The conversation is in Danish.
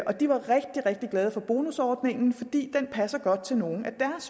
og de var rigtig rigtig glade for bonusordningen fordi den passer godt til nogle af